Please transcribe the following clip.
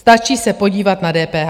Stáčí se podívat na DPH.